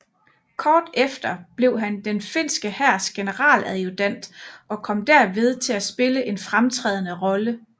Kort efter blev han den finske hærs generaladjutant og kom derved til at spille en fremtrædende rolle